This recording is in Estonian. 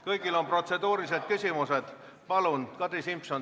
Kõigil on protseduurilised küsimused?